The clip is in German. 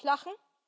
Darf ich lachen?